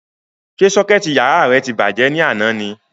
Ṣé sọ́kẹ̀tì yàrá rẹ ti bàjẹ́ ni àná ni?